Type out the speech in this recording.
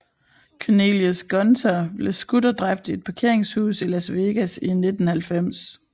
Cornelius Gunter blev skudt og dræbt i et parkeringshus i Las Vegas i 1990